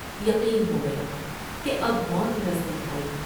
یقین ہو گیا کہ اب موت نزد یک آئی ۔